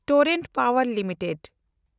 Torrent ᱯᱟᱣᱮᱱᱰ limited